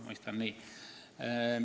Ma mõistan küsimust nii.